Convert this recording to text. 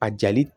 A jali